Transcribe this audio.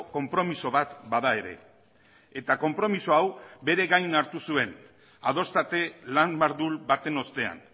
konpromiso bat bada ere eta konpromiso hau bere gain hartu zuen adoste lan mardul baten ostean